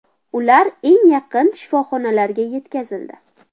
Ular eng yaqin shifoxonalarga yetkazildi.